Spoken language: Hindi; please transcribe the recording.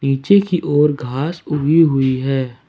नीचे की ओर घास उगी हुई हैं।